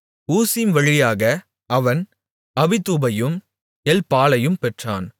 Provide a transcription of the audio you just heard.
ஊசிம் வழியாக அவன் அபிதூபையும் எல்பாலையும் பெற்றான்